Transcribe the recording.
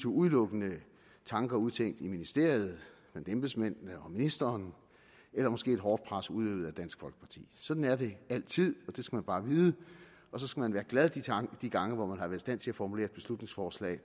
udelukkende tanker udtænkt i ministeriet blandt embedsmændene og ministeren eller måske et hårdt pres udøvet af dansk folkeparti sådan er det altid og det skal man bare vide og så skal man være glad de gange hvor man har været i stand til at formulere et beslutningsforslag